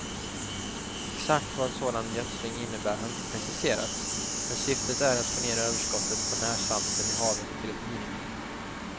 Exakt vad en sådan gödsling innebär har inte preciserats, men syftet är att få ner överskottet på närsalter i havet till ett minimum.